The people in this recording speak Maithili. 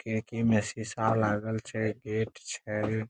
खिड़की में शीशा लागल छै गेट छै।